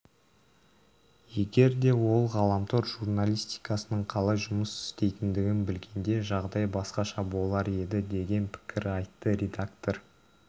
егер де ол ғаламтор журналистикасының қалай жұмыс істейтіндігін білгенде жағдай басқаша болар еді деген пікір айтты редактор